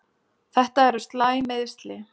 Þetta eru slæm meiðsli.